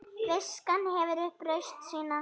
Viskan hefur upp raust sína.